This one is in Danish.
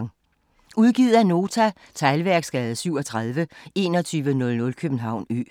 Udgivet af Nota Teglværksgade 37 2100 København Ø